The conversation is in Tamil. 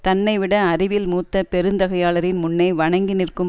தன்னைவிட அறிவில் மூத்த பெருந்தகையாளரின் முன்னே வணங்கி நிற்கும்